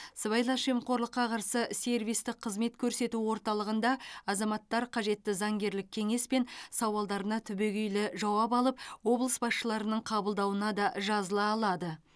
сыбайлас жемқорлыққа қарсы сервистік қызмет көрсету орталығында азаматтар қажетті заңгерлік кеңес пен сауалдарына түбегейлі жауап алып облыс басшыларының қабылдауына да жазыла алады